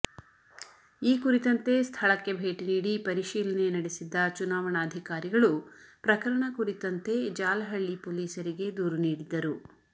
ಈ ಕುರಿತಂತೆ ಸ್ಥಳಕ್ಕೆ ಭೇಟಿ ನೀಡಿ ಪರಿಶೀಲನೆ ನಡೆಸಿದ್ದ ಚುನಾವಣಾಧಿಕಾರಿಗಳು ಪ್ರಕರಣ ಕುರಿತಂತೆ ಜಾಲಹಳ್ಳಿ ಪೊಲೀಸರಿಗೆ ದೂರು ನೀಡಿದ್ದರು